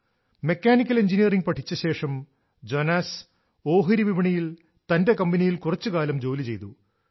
mechanical engineering പഠിച്ച ശേഷം Jonas ഓഹരി വിപണിയിൽ തന്റെ കമ്പനിയിൽ കുറച്ചു കാലം ജോലി ചെയ്തു